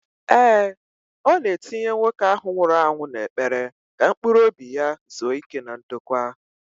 Ee, ọ na-etinye nwoke ahụ nwụrụ anwụ n'ekpere ka mkpuruobi ya zuo íké na ndokwa